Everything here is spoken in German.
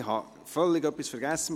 Ich habe etwas völlig vergessen: